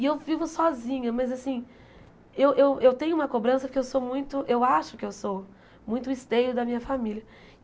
E eu vivo sozinha, mas assim, eu eu eu tenho uma cobrança porque eu sou muito, eu acho que eu sou, muito o esteio da minha família.